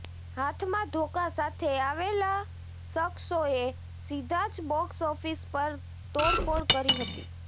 હાથમાં ધોકા સાથે આવેલા શખસોએ સીધા જ બોક્સ ઓફિસ પર તોડફોડ કરી હતી